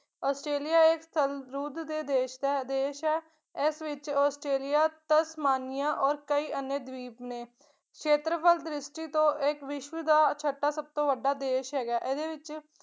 Australia ਇੱਕ ਸਰਵਰੁਦ ਦੇ ਦੇਸ਼ ਹੈ ਦੇਸ਼ ਹੈ ਇਸ ਵਿੱਚ ਆਸਟ੍ਰੇਲੀਆ, ਤਸਮਾਨੀਆ ਔਰ ਕੋਈ ਅਨਿਯਾ ਦੀਪ ਨੇ, ਸ਼ੇਤਰਫਲ ਦ੍ਰਿਸ਼ਟੀ ਤੋਂ ਏ ਇੱਕ ਵਿਸ਼ਵ ਦਾ ਛਟਾ ਸਭਤੋਂ ਵੱਡਾ ਦੇਸ਼ ਹੈਗਾ, ਇਹਦੇ ਵਿੱਚ